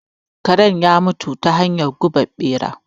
Karen ya mutu ta hanyar gubar ɓera.